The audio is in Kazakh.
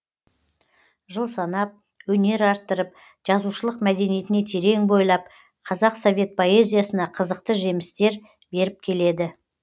жыл санап өнер арттырып жазушылық мәдениетіне терең бойлап қазақ совет поэзиясына қызықты жемістер беріп келеді